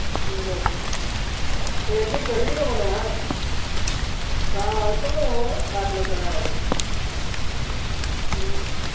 બરાબર admit કર્યો હતો મને હા તાવ આવ્યો હતો ને બાટલા ચડાયા હતા હમ